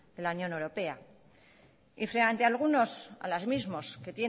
de la unión europea y frente a algunos a los mismos